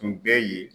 Tun bɛ yen